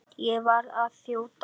Ég verð að þjóta!